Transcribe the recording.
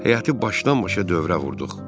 Həyəti başdan-başa dövrə vurduq.